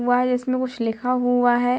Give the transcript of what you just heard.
हुआ है जिसमे कुछ लिखा हुआ है।